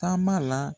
Taama la